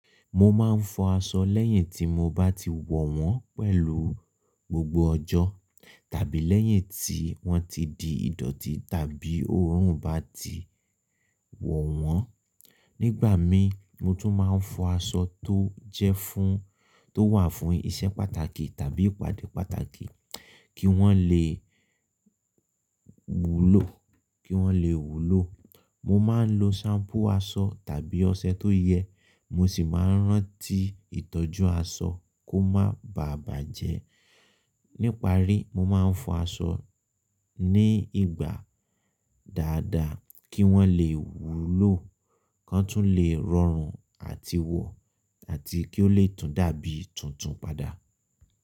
Mo ma ń fọ aṣọ lẹ́yìn tí mo bá ti wọ̀ wọ́n pẹ̀lú gbogbo ọjọ́ tàbí lẹ́yìn tí wọ́n ti di ìdọ̀tí tàbí òórùn bá ti wọ̀ wọ́n. Nígbà mi mo tún ma ń fọ aṣọ tó jẹ́ fún tó wà fún ìṣe pàtàkì tàbí ìpàdé pàtàkì kí wọ́n le wúlò kí wọ́n le wúlò. Mo ma ń lo ṣampú aṣọ tàbí ọṣẹ tó yẹ, mo sì ma ń rántí ìtọ́jú aṣọ kó má baà bàjẹ́. Níparí, mo ma ń fọ aṣọ ní ìgbà dáadáa kí wọ́n le wúlò kan tún le rọrùn àti wọ̀ àti kí ó le tún dàbí tuntun padà.